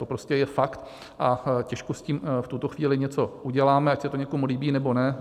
To prostě je fakt a těžko s tím v tuto chvíli něco uděláme, ať se to někomu líbí, nebo ne.